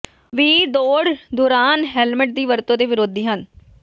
ਵੀ ਦੌੜ ਦੌਰਾਨ ਹੈਲਮਟ ਦੀ ਵਰਤੋ ਦੇ ਵਿਰੋਧੀ ਹਨ